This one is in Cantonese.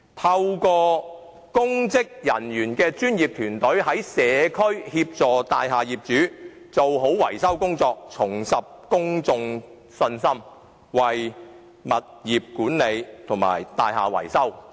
透過由公職人員組成的專業團隊，在社區協助大廈業主做好維修工作，政府便能令公眾重拾信心，並為物業管理及大廈維修做好把關工作。